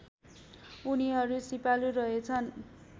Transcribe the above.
उनीहरू सिपालु रहेछन्